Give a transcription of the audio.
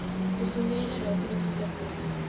besonderhede rakende beskikbare